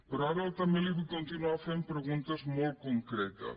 però ara també li vull continuar fent preguntes molt concretes